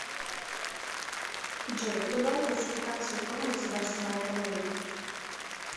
джой кто дал классификацию форм государственного управления